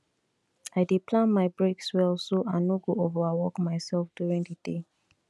i dey plan my breaks well so i no go overwork myself during di day